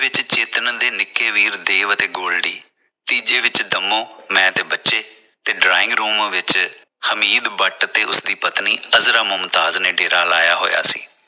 ਦੂਜੇ ਵਿਚ ਚੇਤਨ ਦੇ ਨਿੱਕੇ ਵੀਰ ਦੇਵ ਅਤੇ ਗੋਲਡੀ ਤੀਜੇ ਵਿਚ ਦੰਮੋ ਮੈਂ ਤੇ ਬੱਚੇ ਤੇ drawing room ਵਿਚ ਹਮੀਦ ਬੱਟ ਤੇ ਉਸ ਦੀ ਪਤਨੀ ਅਜਮਾ ਮੁਮਤਾਜ ਨੇ ਡੇਰਾ ਲਾਇਆ ਹੋਇਆ ਸੀ।